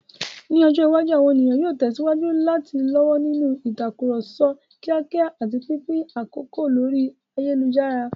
Ní ọjọ́ iwájú, àwọn ènìyàn yóò tẹ̀síwájú láti lọ́wọ́ nínú ìtàkùrọ̀sọ kíákíá àti pínpín àkókò lórí ayélujára.